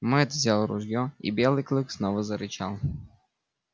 мэтт взял ружье и белый клык снова зарычал